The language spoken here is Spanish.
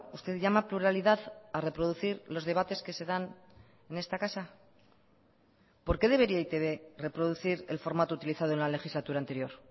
usted llama pluralidad a reproducir los debates que se dan en esta casa por qué debería e i te be reproducir el formato utilizado en la legislatura anterior